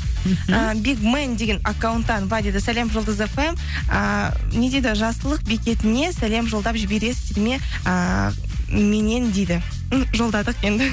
мхм ііі бигмэн деген аккаунттан былай дейді сәлем жұлдыз фм ыыы не дейді жақсылық бекетіне сәлем жолдап жібересіздер ме ыыы меннен дейді м жолдадық енді